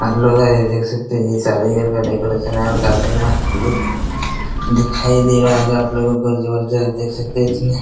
hello guys देख सकते हैं ये शादी विवाह का डेकोरेशन है और काफी मस्त लुक दिखाई दे रहा होगा आप लोगो को और जबरदस्त देख सकते है इसमें --